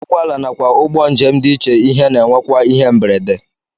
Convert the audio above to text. Ụgbọala nakwa ụgbọ njem dị iche ihe na-enwekwa ihe mberede